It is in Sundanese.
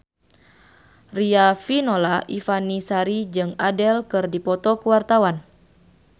Riafinola Ifani Sari jeung Adele keur dipoto ku wartawan